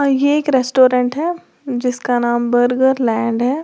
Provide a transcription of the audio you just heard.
ये एक रेस्टोरेंट है जिसका नाम बर्गर लैंड है।